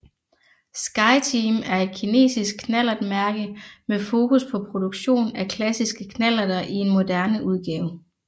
Skyteam er et kinesisk knallertmærke med fokus på produktion af klassiske knallerter i en moderne udgave